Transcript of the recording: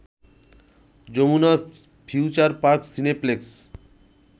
Jamuna future park cineplex